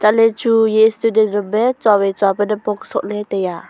le chu ye student name chawai cha le napong soh le taiya.